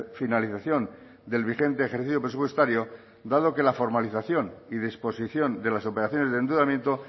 finalización del vigente ejercicio presupuestario dado que la formalización y disposición de las operaciones de endeudamiento